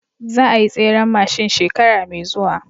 Za ayi tseren mashin shekara me zuwa